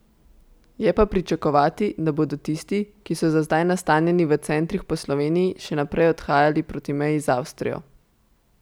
Je pa pričakovati, da bodo tisti, ki so za zdaj nastanjeni v centrih po Sloveniji, še naprej odhajali proti meji z Avstrijo.